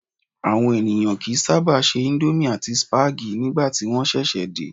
Àwọn ènìyàn kì í sábà se íńdómì àti sípágì nígbà tí wọ́n ṣẹ̀ṣẹ̀ dé.